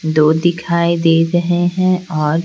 दो दिखाई दे रहे हैं और--